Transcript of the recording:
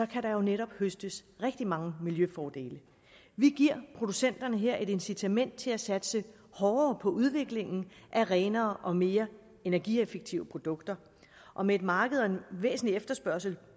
kan der jo netop høstes rigtig mange miljøfordele vi giver her producenterne et incitament til at satse hårdere på udviklingen af renere og mere energieffektive produkter og med et marked og en væsentlig efterspørgsel